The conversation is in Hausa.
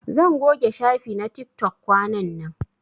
Zan goge shafi na tiktok kwanan nan.